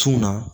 Cunna